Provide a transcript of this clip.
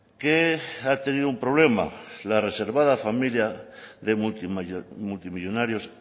que ha tenido un problema la reservada familia de multimillónarios